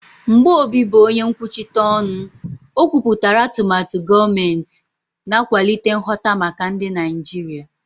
Mgbe Obi bụ onye nkwuchite ọnụ, o kwupụtara atụmatụ gọọmentị, na-akwalite nghọta maka ndị Naijiria.